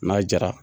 N'a jara